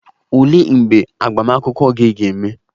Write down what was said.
Olee mgbe agbamakwụkwọ gị ga-eme?